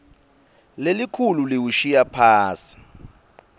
lelikhulu liwushiya phasi